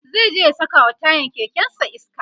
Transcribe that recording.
zai je ya sakawa tayan kekensa iska